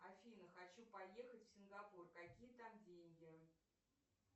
афина хочу поехать в сингапур какие там деньги